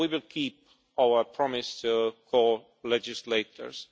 We will keep our promise to the co legislators.